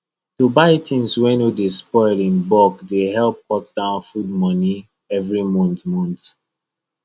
to buy things wey no dey spoil in bulk dey help cut down food money every month month